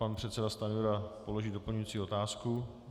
Pan předseda Stanjura položí doplňující otázku.